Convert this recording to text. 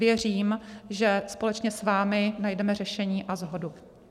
Věřím, že společně s vámi najdeme řešení a shodu.